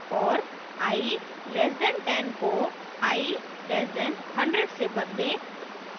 और i less than 10 को i less than 100 से बदलें